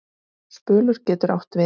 Spölur getur átt við